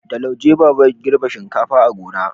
da lauje baba ya girbi shinkafa a gona